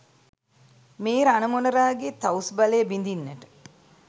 මේ රණ මොණරාගේ තවුස් බලය බිඳින්නට